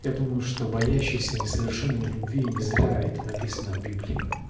я думаю что боящийся несовершенен в любви и не зря это написано в библии